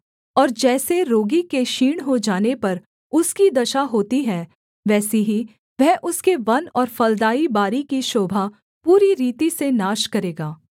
और जैसे रोगी के क्षीण हो जाने पर उसकी दशा होती है वैसी ही वह उसके वन और फलदाई बारी की शोभा पूरी रीति से नाश करेगा